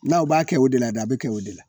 N'aw b'a kɛ o de la dɛ a bi kɛ o de la